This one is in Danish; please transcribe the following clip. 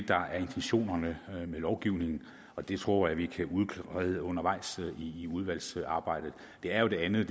der er intentionen med lovgivningen og det tror jeg vi kan udrede undervejs i udvalgsarbejdet det er jo det andet